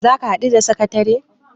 za ka haɗu da sakatare?